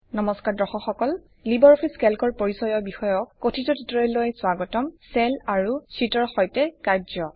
নমস্কাৰ দৰ্শক সকল লিবাৰ অফিচ কেল্কৰ পৰিচয় বিষয়ক কথিত টিউটৰিয়েললৈ স্বাগতম - চেল আৰু শ্বিটৰ সৈতে কাৰ্য্য